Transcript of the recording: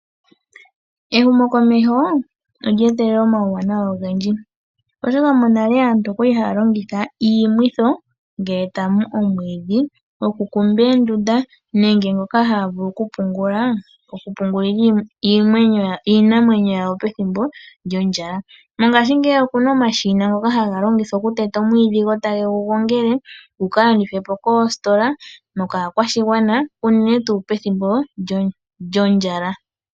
Ehumumokomeho olye etelela omauwanawa ogendji, oshoka monale aantu oya li haya longitha omamwitho ngele taya mu omwiidhi gokukumba oondunda nenge ngoka haya vulu okupungulila iinamwenyo yawo pethimbo lyondjala. Mongashingeyi oku na omashina ngoka haga longithwa okuteta omwiidhi gotage gu gongele gu ka landithwe po koositola nokaakwashigwana unene tuu pethimbo lyondjala.